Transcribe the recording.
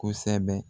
Kosɛbɛ